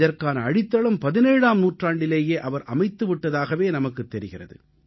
இதற்கான அடித்தளம் 17ஆம் நூற்றாண்டிலேயே அவர் அமைத்து விட்டதாகவே நமக்குத் தெரிகிறது